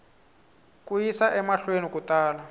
ku yisa emahlweni ku tala